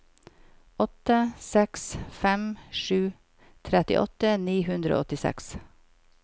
åtte seks fem sju trettiåtte ni hundre og åttiseks